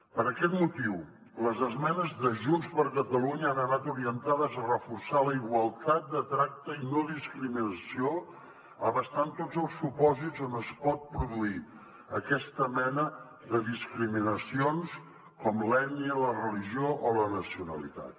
per aquest motiu les esmenes de junts per catalunya han anat orientades a reforçar la igualtat de tracte i no discriminació abastant tots els supòsits on es pot produir aquesta mena de discriminacions com l’ètnia la religió o la nacionalitat